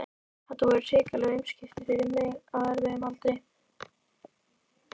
Þetta voru hrikaleg umskipti fyrir mig á erfiðum aldri.